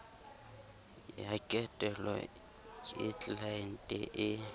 ya ketelo ke tlelaente e